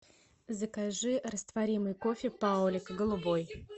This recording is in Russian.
закажи растворимый кофе паулиг голубой